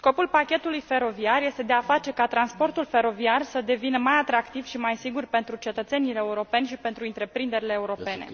face ca transportul feroviar să devină mai atractiv și mai sigur pentru cetățenii europeni și pentru întreprinderile europene.